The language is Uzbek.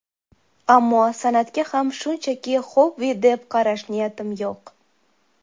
Ammo san’atga ham shunchaki xobbi deb qarash niyatim yo‘q.